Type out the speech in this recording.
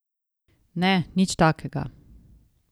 Ne, nič takega!